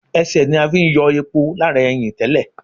Ẹsẹ̀ ní a fi ń yọ epo lára ẹyìn tẹ́lẹ̀